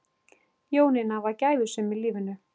Jónína var gæfusöm í lífinu.